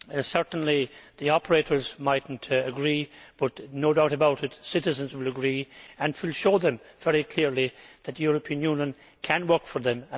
Certainly the operators might not agree but, no doubt about it, citizens will agree and it will show them very clearly that the European Union can work for them.